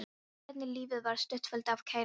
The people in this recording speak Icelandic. Ég fann hvernig lífið var stútfullt af kærleika.